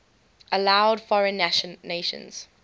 allowed foreign nations